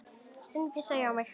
Stundum pissaði ég á mig.